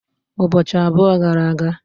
Ụbọchị abụọ gara aga.